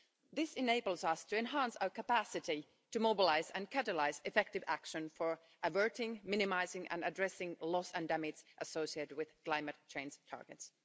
This enables us to enhance our capacity to mobilise and catalyse effective action for averting, minimising and addressing loss and damage associated with climate change targets.